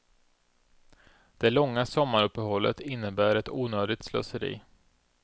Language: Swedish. Det långa sommaruppehållet innebär ett onödigt slöseri.